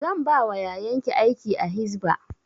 Zan ba wa yayan ki aiki a hisba